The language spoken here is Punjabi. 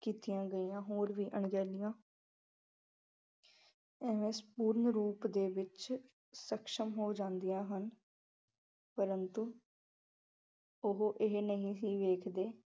ਕੀਤੀਆ ਗਈਆ ਹੋਰ ਵੀ ਅਣਗਹਿਲੀਆਂ ਇਹ ਸੰਪੂਰਨ ਰੂਪ ਦੇ ਵਿੱਚ ਸਖਸ਼ਮ ਹੋ ਜਾਂਦੀਆ ਹਨ ਪ੍ਰੰਤੂ ਉਹ ਇਹ ਨਹੀਂ ਸੀ ਦੇਖ ਦੇ